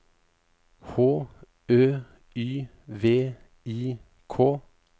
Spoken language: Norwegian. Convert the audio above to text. H Ø Y V I K